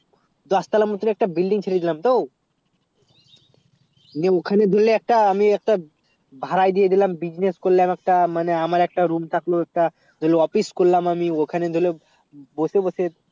গাছ তালা মদদে একটা building ছেড়ে ছিলাম তো নিয়ে ওখানে দিলে একটা আমি একটা ভাড়ায় দিয়ে দিলাম business করলে একটা মানে আমার একটা room থাকলো একটা office করলাম আমি ওখানে গেলে বসে বসে